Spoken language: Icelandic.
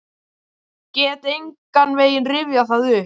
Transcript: Get engan veginn rifjað það upp.